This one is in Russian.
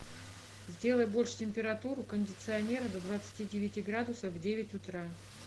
сделай больше температуру кондиционера до двадцати девяти градусов в девять утра